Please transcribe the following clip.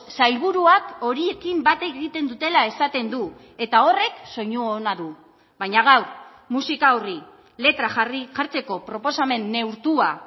sailburuak horiekin bat egiten dutela esaten du eta horrek soinu ona du baina gaur musika horri letra jarri jartzeko proposamen neurtua